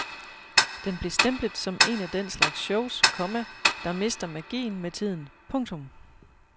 Den blev stemplet som en af den slags shows, komma der mister magien med tiden. punktum